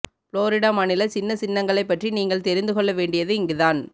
Florida மாநில சின்ன சின்னங்களைப் பற்றி நீங்கள் தெரிந்துகொள்ள வேண்டியது இங்குதான்